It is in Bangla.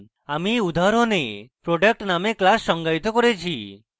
আমি এই উদাহরণে product named class সঙ্গায়িত করেছি